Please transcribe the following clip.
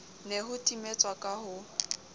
ne ho timetswa ka ho